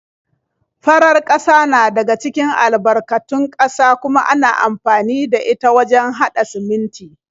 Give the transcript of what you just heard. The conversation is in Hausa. Farar ƙasa na daga cikin albarkatun ƙasa kuma ana amfani da ita wajen haɗa siminti.